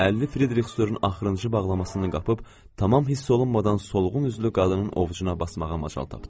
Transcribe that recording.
50 Frederikstorun axırıncı bağlamasını qapıb tamam hiss olunmadan solğun üzlü qadının ovucuna basmağa macal tapdım.